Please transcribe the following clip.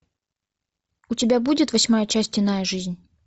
у тебя будет восьмая часть иная жизнь